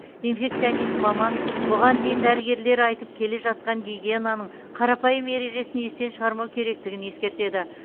инфекционист маман бұған дейін дәрігерлер айтып келе жатқан гигиенаның қарапайым ережесін естен шығармау керектігін ескертеді